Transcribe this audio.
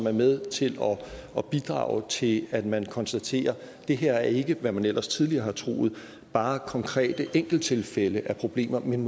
er med til at bidrage til at man konstaterer at det her ikke er hvad man ellers tidligere har troet bare konkrete enkelttilfælde af problemer men